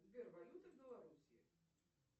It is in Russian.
сбер валюта белоруссии